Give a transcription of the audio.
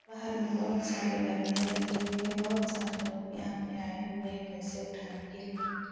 बहार में बोहोत सारी गाड़ियां लगी हुई हैं। बोहोत सारे लोग यहाँ पे आये हुए हैं पैसे उठाने के लिए।